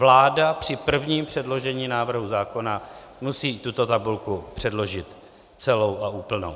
Vláda při prvním předložení návrhu zákona musí tuto tabulku předložit celou a úplnou.